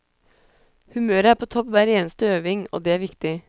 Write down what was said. Humøret er på topp hver eneste øving, og det er viktig.